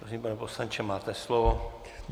Prosím, pane poslanče, máte slovo.